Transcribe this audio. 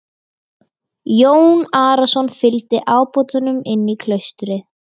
Jón Arason fygldi ábótanum inn í klaustrið.